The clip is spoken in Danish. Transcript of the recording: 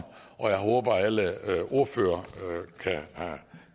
og jeg håber at alle ordførere har